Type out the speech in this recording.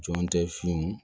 Jɔn tɛ sun